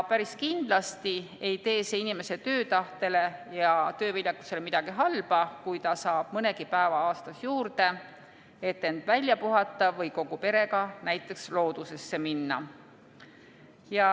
Päris kindlasti ei tee see inimese töötahtele ja tööviljakusele midagi halba, kui ta saab mõnegi päeva aastas juurde, et end välja puhata või kogu perega näiteks loodusesse minna.